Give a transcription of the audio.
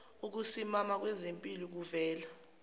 ukusimama kwezimpilo kuvela